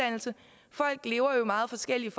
sker her